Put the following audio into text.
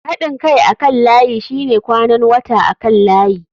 Haɗin kai akan layi shine kwanan wata akan layi.